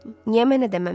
Niyə mənə deməmisən?